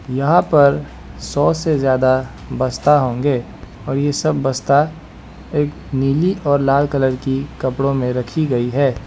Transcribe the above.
यहां पर सौ से ज्यादा बसता होंगे और ये सब बसता नीली और लाल कलर कि कपड़ो में रखी गई है।